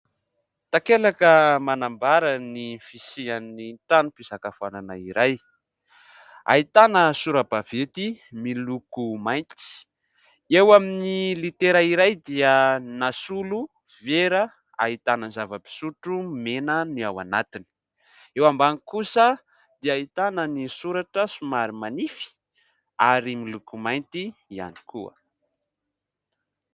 Takelaka manambara ny fisian'ny trano fisakafoanana iray. Ahitana sora-baventy miloko mainty. Eo amin'ny litera iray dia nasolo vera ahitana zava-pisotro mena ny ao anatiny. Eo ambany kosa dia ahitana ny soratra somary manify ary miloko mainty ihany koa.